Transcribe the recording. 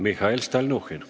Mihhail Stalnuhhin.